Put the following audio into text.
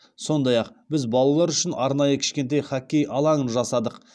сондай ақ біз балалар үшін арнайы кішкентай хоккей алаңын жасадық